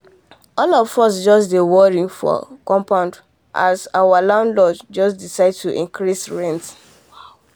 all of us just dey worry um for compound as our um landlord just decide to increase rent